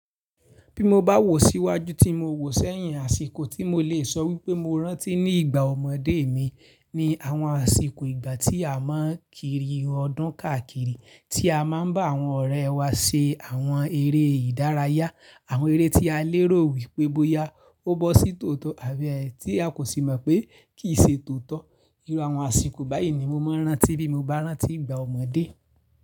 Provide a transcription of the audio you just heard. Bí mo bá wò síwájú tí mo wò sẹ́yìn, àsìkò tí mo lè sọ wípé mo rántí ní ìgbà ọmọdé mi ni àwọn àsìkò ìgbà tí a máa ń kiri ọdún káàkiri, tí a máa ń bá àwọn ọ̀rẹ́ wa ṣe àwọn eré ìdárayá, àwọn eré tí a lérò wípé bóyá ó bọ́ sí tòótọ́ àbí ẹ̀ tí a kò sì mọ̀ pé kì í ṣe tòótọ́. Irú àwọn àsìkò báyìí ni mo máa ń rántí bí mo bá rántí ìgbà ọmọdé.